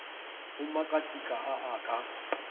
go makatika a a ka